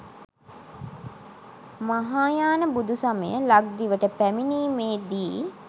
මහායාන බුදු සමය ලක්දිවට පැමිණීමේ දී